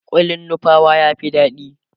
kullin nupawa ya Fi daɗi